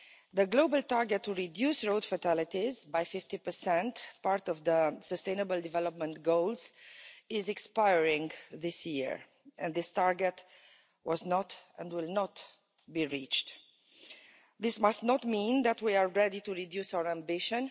The global target to reduce road fatalities by 50 part of the Sustainable Development Goals is expiring this year, and this target was not and will not be reached. This must not mean that we are ready to reduce our ambition.